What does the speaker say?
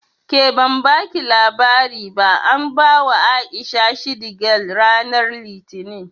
Ke ban baki labari ba an bawa A'isha shidi gal ranar Litinin